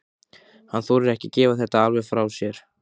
Hann þorir ekki að gefa þetta alveg frá sér.